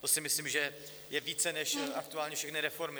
To si myslím, že je více než aktuálně všechny reformy.